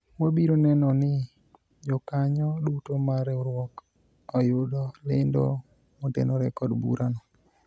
wabiro neno ni jokanyo duto mar riwruok oyudo lendo motenore kod bura no